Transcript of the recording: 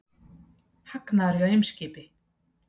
Hagnaður hjá Eimskipi